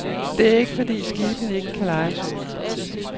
Det er ikke, fordi skibene ikke kan udlejes.